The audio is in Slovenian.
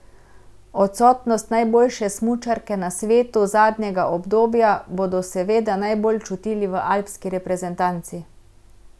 Odsotnost najboljše smučarke na svetu zadnjega obdobja bodo seveda najbolj čutili v alpski reprezentanci.